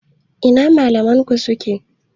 Ina malaman ku suke?